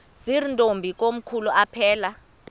zirntombi komkhulu aphelela